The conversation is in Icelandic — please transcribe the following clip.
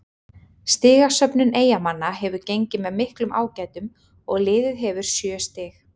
Stigasöfnun Eyjamanna hefur gengið með miklum ágætum og liðið hefur sjö stig.